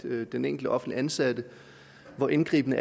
af den enkelte offentligt ansatte hvor indgribende